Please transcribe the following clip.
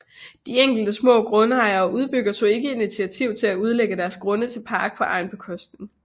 De enkelte små grundejere og udbyggere tog ikke initiativ til at udlægge deres grunde til park på egen bekostning